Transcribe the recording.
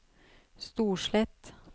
Storslett